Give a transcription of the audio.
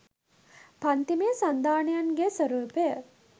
පංතිමය සන්ධානයන්ගේ ස්වරූපය